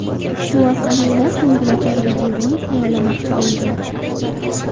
Shu orqali ular ko‘ngilochar videorolik tayyorlamoqchi bo‘lgan.